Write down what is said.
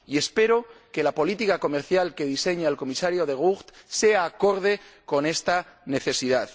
Y espero que la política comercial que diseña el Comisario De Gucht sea acorde con esta necesidad.